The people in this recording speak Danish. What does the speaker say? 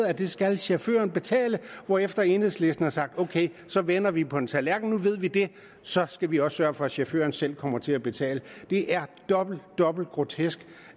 at det skal chaufføren betale hvorefter enhedslisten har sagt ok så vender vi på en tallerken nu ved vi det så skal vi også sørge for at chaufføren selv kommer til at betale det er dobbelt dobbelt grotesk